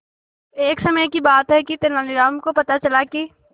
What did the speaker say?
एक समय की बात है कि तेनालीराम को पता चला कि